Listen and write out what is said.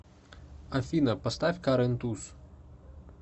афина поставь карен туз